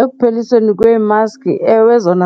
Ekuphelisweni kwee-mask, ewe, zona